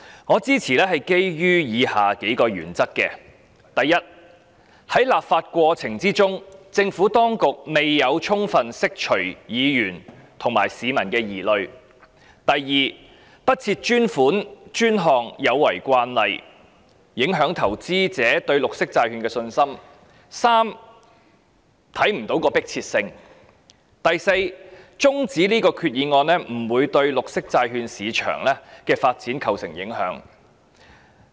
我基於以下數個原因支持這項議案：第一，在立法過程中，政府當局未有充分釋除議員和市民的疑慮；第二，不設專款專項有違慣例，影響投資者對綠色債券的信心；第三，決議案沒有迫切性；以及第四，將這項決議案的辯論中止待續不會對綠色債券市場的發展造成影響。